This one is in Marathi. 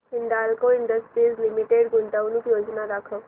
हिंदाल्को इंडस्ट्रीज लिमिटेड गुंतवणूक योजना दाखव